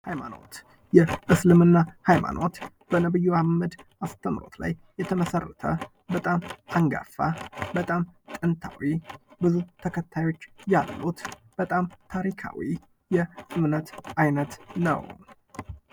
ሃይማኖት የእስልምና ሃይማኖት በነብዩ መሃመድ አስተምሮት ላይ የተመሰረተ በጣም አንጋፋ በጣም ጥንታዊ ብዙ ተከታዮች ያሉት በጣም ታሪካዊ እምነት አይነት ነው ::